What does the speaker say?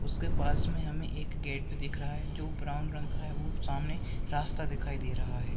उसके पास मे हमे एक गेट भी दिख रहा है जो ब्राउन रंग का है और सामने रास्ता दिखाई दे रहा है।